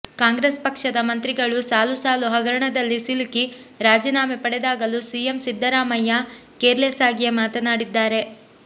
ಕಾಂಗ್ರೆಸ್ ಪಕ್ಷದ ಮಂತ್ರಿಗಳು ಸಾಲು ಸಾಲು ಹಗರಣದಲ್ಲಿ ಸಿಲುಕಿ ರಾಜಿನಾಮೆ ಪಡೆದಾಗಲೂ ಸಿಎಂ ಸಿದ್ದರಾಮಯ್ಯ ಕೇರ್ ಲೆಸ್ ಆಗಿಯೇ ಮಾತನಾಡಿದ್ದಾರೆ